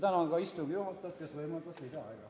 Tänan ka istungi juhatajat, kes võimaldas lisaaega!